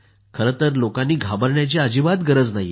खरंतर लोकांनी घाबरण्याची अजिबात गरज नाही